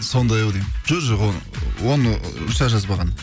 сондай ау деймін жоқ оны руся жазбаған